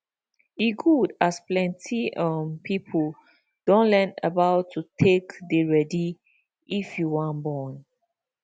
e good as plenty um people don learn about to take dey ready if you wan born